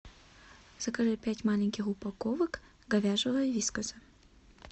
закажи пять маленьких упаковок говяжьего вискаса